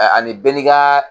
Ɛ ani bɛɛ ni ka